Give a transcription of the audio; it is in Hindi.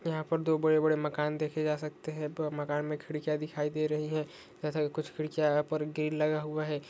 यहां पर दो बड़े-बड़े मकान देखे जा सकते हैं पूरा मकान में खिड़कियां दिखाई दे रही है जैसा कि कुछ खिड़कियों पर ग्रील लगा हुआ है।